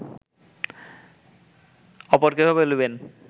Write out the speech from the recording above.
অপর কেহ বলিবেন